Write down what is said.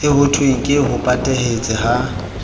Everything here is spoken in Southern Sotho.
eo hothweng ke hopahete ha